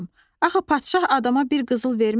Axı padşah adama bir qızıl verməz.